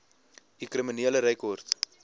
u kriminele rekord